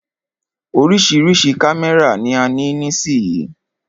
Oríṣiríṣi kámẹ́rà ni a ní nísìyí.